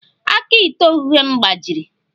Aka ite oghughe m gbajiri